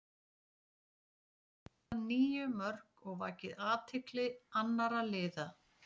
Hann hefur skorað níu mörk og vakið athygli annara liða.